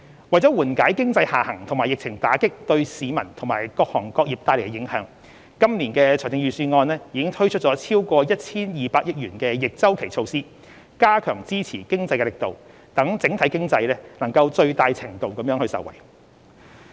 為緩解經濟下行及疫情打擊對市民及各行各業帶來的影響，今年的財政預算案已推出超過 1,200 億元的逆周期措施，加強支持經濟的力度，讓整體經濟能在最大程度上受惠。